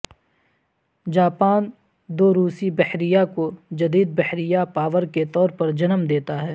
Japan دو روسی بحریہ کو جدید بحریہ پاور کے طور پر جنم دیتا ہے